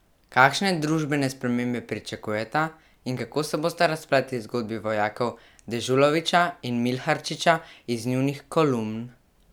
Kakšne družbene spremembe pričakujeta in kako se bosta razpletli zgodbi vojakov Dežulovića in Milharčiča iz njunih kolumn?